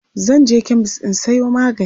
zanje chemist in Sayo magani